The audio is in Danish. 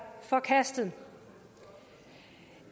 forkastet